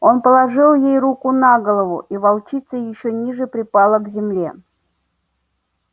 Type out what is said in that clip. он положил ей руку на голову и волчица ещё ниже припала к земле